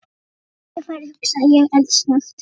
Nú er tækifærið hugsaði ég eldsnöggt.